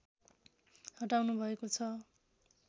हटाउनुभएको छ